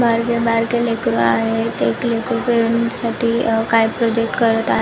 बारके बारके लेकरु आहेत एक लेकरु काय प्रोजेक्ट करत आहे.